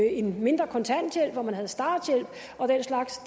en mindre kontanthjælp man havde en starthjælp og den slags